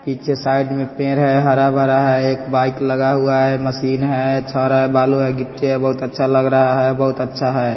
पीछे साइड में पेड़ है हरा-भरा है एक बाइक लगा हुआ है मशीन है छड़ है बालू है गिट्टी है बहुत अच्छा लग रहा है बहुत अच्छा है।